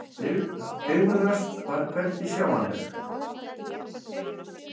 Bifröst var hvergi sjáanleg.